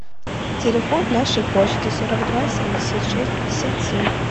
телефон нашей почты сорок два семьдесят шесть пятьдесят семь